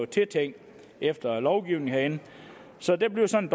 tiltænkt efter lovgivningen herinde så det bliver sådan